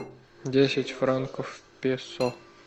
десять франков песо